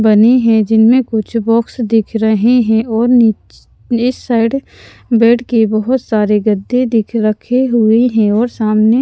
बने हैं जिनमें कुछ बॉक्स दिख रहे हैं और निच इस साइड बेड के बहुत सारे गद्दे दिख रखे हुए हैं और सामने --